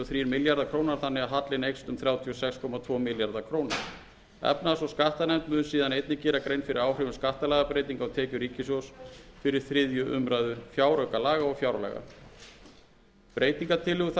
einn milljarður króna þannig að hallinn eykst um þrjátíu og sex komma tvo milljarða króna efnahags og skattanefnd mun síðan einnig gera grein fyrir áhrifum skattalagabreytinga á tekjur ríkissjóðs fyrir þriðju umræðu fjáraukalaga og fjárlaga breytingartillögur þær sem eru til umfjöllunar